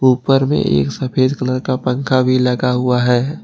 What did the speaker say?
ऊपर में एक सफेद कलर का पंखा भी लगा हुआ है।